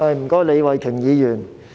多謝，李慧琼議員。